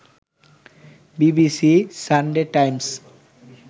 BBC, Sunday Times